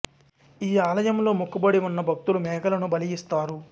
ఈ ఆలయంలో మొక్కుబడి ఉన్న భక్తులు మేకలను బలి ఇస్తారు